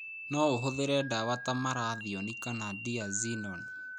No ũhũthĩre ndawa ta malathion kana diazinon.